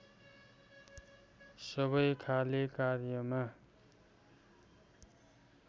सबै खाले कार्यका